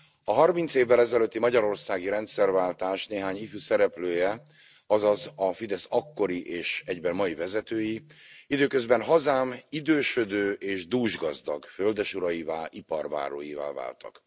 A harminc évvel ezelőtti magyarországi rendszerváltás néhány ifjú szereplője, azaz a Fidesz akkori és egyben mai vezetői időközben hazám idősödő és dúsgazdag földesuraivá, iparbáróivá váltak.